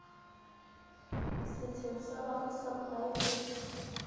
setsheng sa bafu sa poraefete